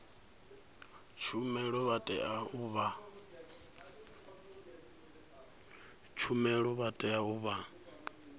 tshumelo vha tea u vha